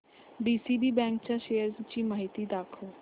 DCB bank च्या shares ची माहिती दाखव